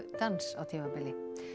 dans á tímabili